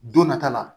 Don nata la